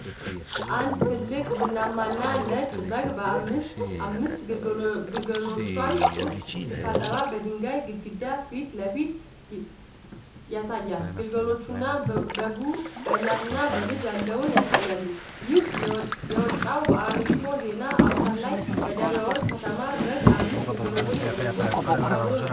አንድ ትልቅ ቡናማና ነጭ በግ አምስት ግልገሎቿን ጡት ሲታጠባ በድንጋይ ግድግዳ ፊት ለፊት ይሳያል። ግልገሎቹና በጉ በእናትና ልጅ ያለውን ያሳያሉ። ይህም የወጣው በ አሚኮ ዜና አውታር ላይ "በደብረ ወርቅ ከታማ በግ 5 ግልገሎች ወለደች" ተብሎ ነው።